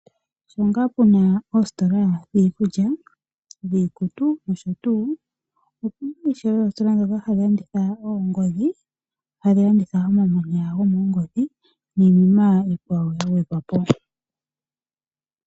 Sho ngaa puna oositola dhiikulya, dhiikutu noshotuu, opuna ishewe oositola ndhono hadhi landitha oongodhi , hadhi landitha omamanya gomoongodhi niinima iikwawo yagwedhwapo.